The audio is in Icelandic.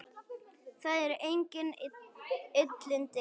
Það eru engin illindi hér.